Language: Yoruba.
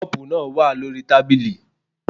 The cup is on the table